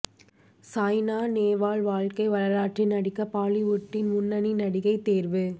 சாய்னா நேவால் வாழ்க்கை வரலாற்றில் நடிக்க பாலிவுட்டின் முன்னணி நடிகை தேர்வு